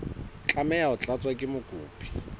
tlameha ho tlatswa ke mokopi